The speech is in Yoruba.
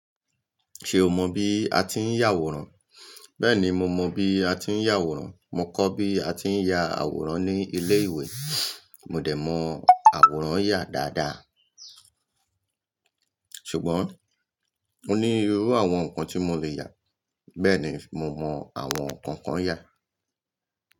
Ṣe o mọ bi a ti ń yàwòrán? Bẹẹni, mo mọ bi a ti ń yàwòrán. Mo kọ́ bi a ti ń ya àwòrán ni ilé-ìwé. Mo dẹ̀ mọ àwòrán yà dáadáa. Ṣùgbọ́n mo ní irú àwọn nǹkan tí mo lè yà. Bẹ́ẹ̀ni, mo mọ àwọn nǹkan kan yà.